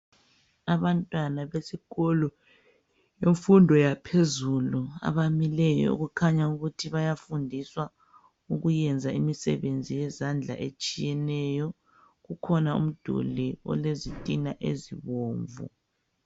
Abantwana besikolo semfundo yaphezulu abamileyo kukhanya ukuthi bayafundiswa ukuyenza imisebenzi yezandla etshiyeneyo . Kukhona umduli olezitina ezibomvu.